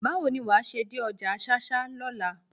Báwo ni wàá ṣe dé ọjà ṣáṣá lọ́la?